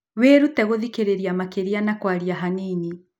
Wĩrute gũthikĩrĩria makĩria na kwaria hanini.